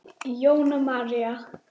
Jóna María.